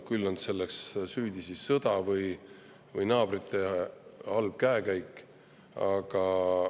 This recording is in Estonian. Küll on selles siis süüdi sõda või naabrite halb käekäik!